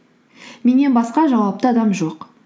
меннен басқа жауапты адам жоқ